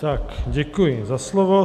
Tak děkuji za slovo.